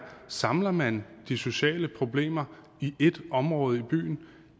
samler man de sociale problemer i ét område i byen